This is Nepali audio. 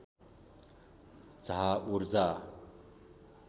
झा ऊर्जा